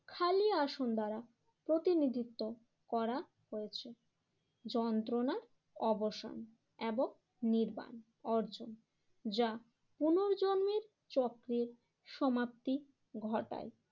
আসন দ্বারা প্রতিনিধিত্ব করা হয়েছে যন্ত্রনার অবসান এবং নির্বাণ অর্জন যা পুনর্জন্মের চক্রের সমাপ্তি ঘটায়।